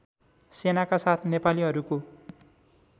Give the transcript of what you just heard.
सेनाका साथ नेपालीहरूको